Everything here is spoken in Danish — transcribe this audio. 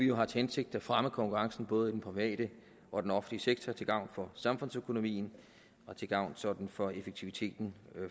jo har til hensigt at fremme konkurrencen både i den private og den offentlige sektor til gavn for samfundsøkonomien og til gavn sådan for effektiviteten